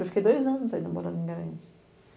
Eu fiquei dois anos ainda morando em Garanhus.